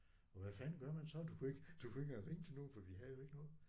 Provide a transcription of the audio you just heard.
Og hvad fanden gør man så du kunne ikke du kunne ikke engang ringe til nogen for vi havde jo ikke noget